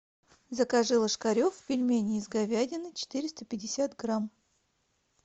закажи ложкарев пельмени из говядины четыреста пятьдесят грамм